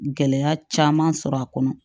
Gɛlɛya caman sɔrɔ a kɔnɔ